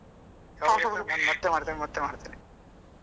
ಯಾವಾಗ ನೋಡಿದ್ರು ನಾನ್ ಮತ್ತೆ ಮಾಡ್ತೇನೆ ಮತ್ತೆ ಮಾಡ್ತೇನೆ.